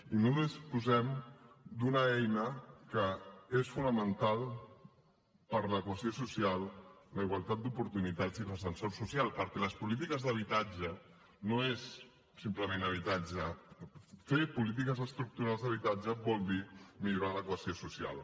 i no disposem d’una eina que és fonamental per a la cohesió social la igualtat d’oportunitats i l’ascensor social perquè les polítiques d’habitatge no és simplement habitatge fer polítiques estructurals d’habitatge vol dir millorar la cohesió social